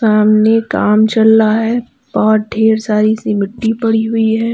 सामने काम चल रहा है बहुत ढेर सारी सी मिट्टी पड़ी हुई है।